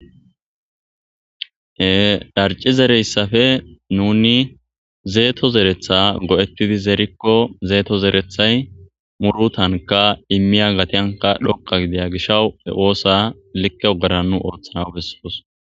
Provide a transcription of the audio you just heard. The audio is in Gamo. he darci zereyssafe nuni zeeto zeretha go7ettidi zeerikko zeeto zerethay muru tanka immiya gatyanka dhokka gidaya gishawu he oosa likke ogera nu ooththana besses